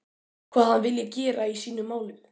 Hvað hann vilji gera í sínum málum?